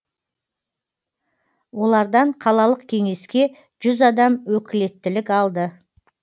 олардан қалалық кеңеске жүз адам өкілеттілік алды